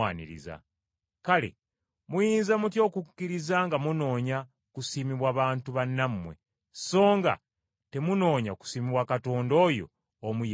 Kale muyinza mutya okukkiriza nga munoonya kusiimibwa bantu bannammwe, so nga temunoonya kusiimibwa Katonda oyo Omu yekka?